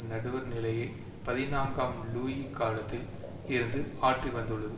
நடுவர் நிலையை பதினான்காம் லூயி காலத்தில் இருந்து ஆற்றிவந்துள்ளது